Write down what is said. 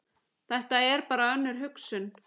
Þetta er bara önnur hugsun.